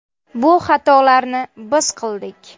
Bu xatolarni biz qildik.